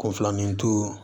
Ko filanin to